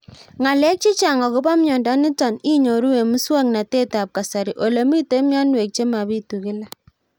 Ng'alek chechang' akopo miondo nitok inyoru eng' muswog'natet ab kasari ole mito mianwek che mapitu kila